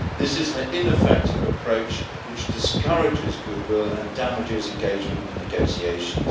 This is an ineffective approach which discourages goodwill and damages engagement in negotiations.